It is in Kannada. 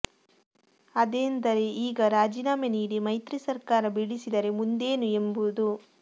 ಅದೇಂದರೆ ಈಗ ರಾಜೀನಾಮೆ ನೀಡಿ ಮೈತ್ರಿ ಸರ್ಕಾರ ಬೀಳಿಸಿದರೆ ಮುಂದೇನು ಎಂಬುದು